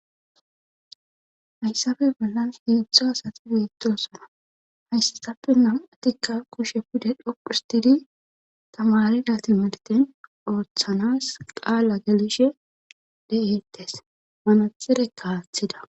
Hayssafe bollan heedzdzu asati bettosona hayssasappe nam'atikka kushe pude dhoqu histidi tamarida timirten ooththanas qaala geliishshe de'eettes manaxireka aththida